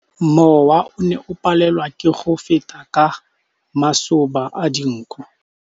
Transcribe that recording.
Mowa o ne o palelwa ke go feta ka masoba a dinko.